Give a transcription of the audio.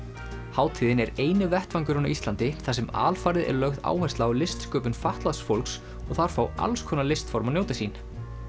hátíðin er eini vettvangurinn á Íslandi þar sem alfarið er lögð áhersla á listsköpun fatlaðs fólks og þar fá alls konar listform að njóta sín